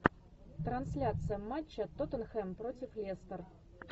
трансляция матча тоттенхэм против лестер